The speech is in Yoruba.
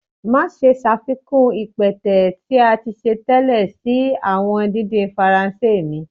Maṣe ṣafikun ipẹtẹ ti a ti ṣe tẹlẹ si awọn didin Faranse mi.